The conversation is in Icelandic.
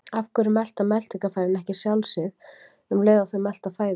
af hverju melta meltingarfærin ekki sjálf sig um leið og þau melta fæðu